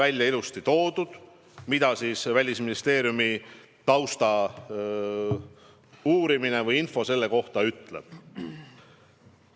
Selles on ilusti ära toodud, mida Välisministeeriumi tausta uurimine selle kohta ütleb.